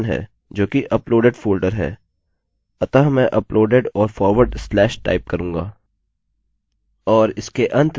अतः मैं uploaded और फॉरवर्ड स्लैश टाइप करूँगा